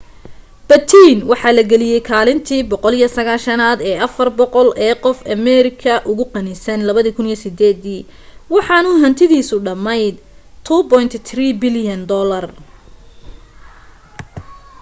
batten waxa la geliyay kaalinta 190aad ee 400 ee qof ee ameerika ugu qanisan 2008 dii waxaanu hantidiisu dhammayd $2.3 bilyan